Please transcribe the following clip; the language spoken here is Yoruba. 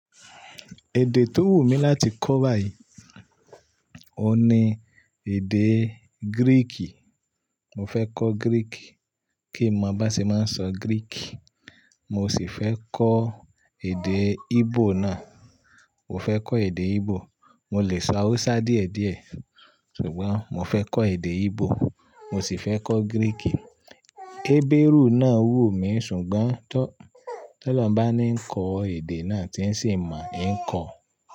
Èdè tó wù mí láti kọ̀ báyìí o ní èdè Gíríìkì. Mo fẹ́ kọ́ Gíríìkì kín mọ bán ṣe máa ń sọ Gíríìkì. Mo sì fẹ́ kọ́ èdè Íbò náà. Mo fẹ́ kọ́ èdè Íbò. Mo lè sọ Hausa díẹ̀díẹ̀ ṣùgbọ́n mo fẹ́ kọ́ èdè Íbò. Mo sì fẹ́ kọ́ Gíríìkì. Hébérù náà wù mí ṣùgbọ́n tó lọhun bá ni ń kọ èdè náà tí ń sì mọ̀, ń kọ̀.